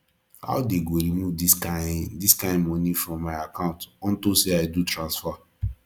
how dey go remove this kin this kin money from my account unto say i do transfer